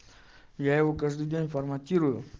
я его каждый день форматирую